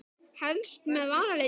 Helst með varalit líka.